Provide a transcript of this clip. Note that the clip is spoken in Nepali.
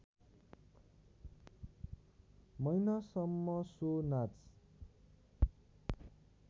महिनासम्म सो नाच